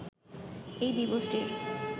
এই দিবসটির